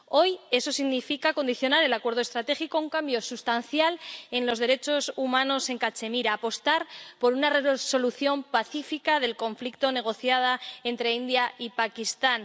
Hoy eso significa condicionar el acuerdo estratégico a un cambio sustancial en los derechos humanos en Cachemira, apostar por una solución pacífica del conflicto negociada entre la India y Pakistán.